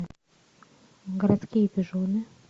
городские пижоны